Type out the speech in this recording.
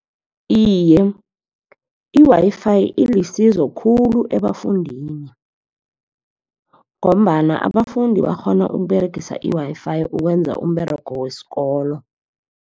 Iye, i-Wi-Fi ilisizo khulu ebafundini, ngombana abafundi bakghona ukUberegisa i-Wi-Fi ukwenza umberego wesikolo.